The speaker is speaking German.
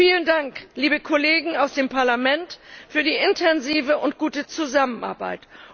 Vielen Dank, liebe Kollegen aus dem Parlament, für die intensive und gute Zusammenarbeit.